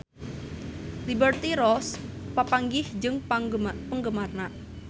Liberty Ross papanggih jeung penggemarna